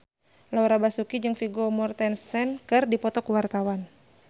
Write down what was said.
Laura Basuki jeung Vigo Mortensen keur dipoto ku wartawan